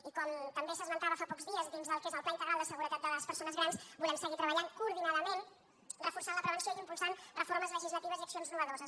i com també s’esmentava fa pocs dies dins del que és el pla integral de seguretat de les persones grans volem seguir treballant coordinadament reforçant la prevenció i impulsant reformes legislatives i accions innovadores